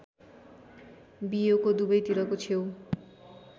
बियोको दुबैतिरको छेउ